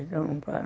Não pagar.